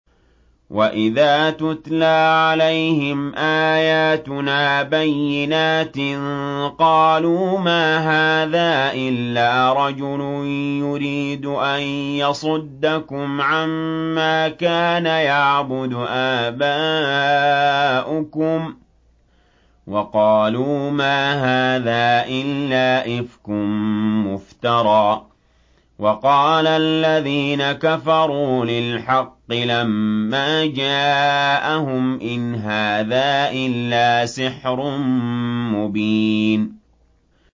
وَإِذَا تُتْلَىٰ عَلَيْهِمْ آيَاتُنَا بَيِّنَاتٍ قَالُوا مَا هَٰذَا إِلَّا رَجُلٌ يُرِيدُ أَن يَصُدَّكُمْ عَمَّا كَانَ يَعْبُدُ آبَاؤُكُمْ وَقَالُوا مَا هَٰذَا إِلَّا إِفْكٌ مُّفْتَرًى ۚ وَقَالَ الَّذِينَ كَفَرُوا لِلْحَقِّ لَمَّا جَاءَهُمْ إِنْ هَٰذَا إِلَّا سِحْرٌ مُّبِينٌ